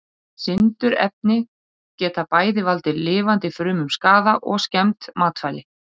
Sindurefni geta bæði valdið lifandi frumum skaða og skemmt matvæli.